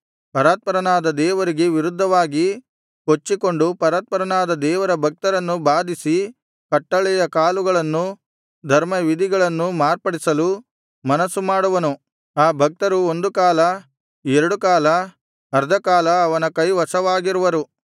ಪರಾತ್ಪರನಾದ ದೇವರಿಗೆ ವಿರುದ್ಧವಾಗಿ ಕೊಚ್ಚಿಕೊಂಡು ಪರಾತ್ಪರನಾದ ದೇವರ ಭಕ್ತರನ್ನು ಬಾಧಿಸಿ ಕಟ್ಟಳೆಯ ಕಾಲಗಳನ್ನೂ ಧರ್ಮವಿಧಿಗಳನ್ನೂ ಮಾರ್ಪಡಿಸಲು ಮನಸ್ಸು ಮಾಡುವನು ಆ ಭಕ್ತರು ಒಂದುಕಾಲ ಎರಡುಕಾಲ ಅರ್ಧಕಾಲ ಅವನ ಕೈವಶವಾಗಿರುವರು